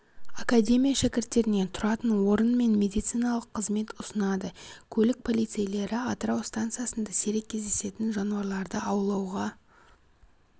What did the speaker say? академия шәкірттеріне тұратын орын мен медициналық қызмет ұсынады көлік полицейлері атырау станциясында сирек кездесетін жануарларды аулауға